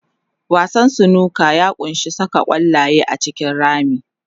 Wasan snooker ya ƙunshi saka ƙwallaye a cikin rami.